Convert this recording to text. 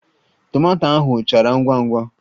Tomato ahụ chara ngwa ngwa